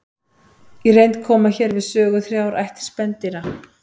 Í reynd koma hér við sögu þrjár ættir spendýra.